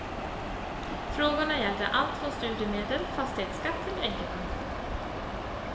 Frågorna gällde allt från studiemedel, fastighetsskatt till änkepensioner.